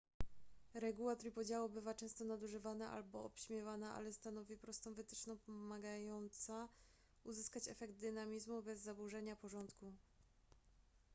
reguła trójpodziału bywa często nadużywana albo obśmiewana ale stanowi prostą wytyczną pomagająca uzyskać efekt dynamizmu bez zaburzenia porządku